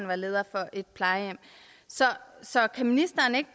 var leder af et plejehjem så så kan ministeren ikke